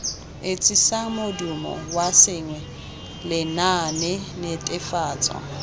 etsisang modumo wa sengwe lenaanenetefatso